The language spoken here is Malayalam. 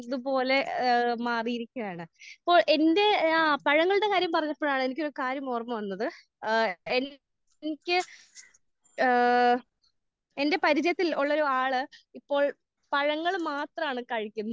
ത് പോലെ ഏഹ് മാറി ഇരിക്കുകയാണ്. ഇപ്പോൾ എന്റെ ആഹ് പഴങ്ങളുടെ കാര്യം പറഞ്ഞപ്പോഴാണ് എനിക്കൊരു കാര്യം ഓർമ്മ വന്നത്. ഏഹ് എന്റെ എനിക്ക് ഏഹ് എന്റെ പരിചയത്തിൽ ഉള്ള ഒരാൾ ഇപ്പോൾ പഴങ്ങൾ മാത്രമാണ് കഴിക്കുന്നത്.